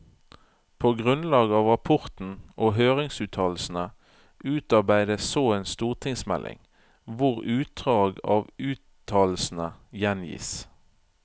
På grunnlag av rapporten og høringsuttalelsene utarbeides så en stortingsmelding, hvor utdrag av uttalelsene gjengis.